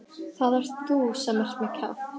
Það ert þú sem ert með kjaft.